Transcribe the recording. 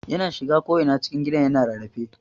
Yana shiga ko'ina cikin gidan yana rarrafe.